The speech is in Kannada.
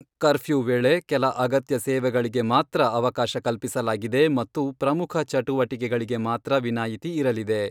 ಕರ್ಪ್ಯೂ ವೇಳೆ ಕೆಲ ಅಗತ್ಯ ಸೇವೆಗಳಿಗೆ ಮಾತ್ರ ಅವಕಾಶ ಕಲ್ಪಿಸಲಾಗಿದೆ ಮತ್ತು ಪ್ರಮುಖ ಚಟುವಟಿಕೆಗಳಿಗೆ ಮಾತ್ರ ವಿನಾಯಿತಿ ಇರಲಿದೆ.